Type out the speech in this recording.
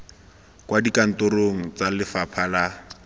kwa dikantorong tsa lefapha la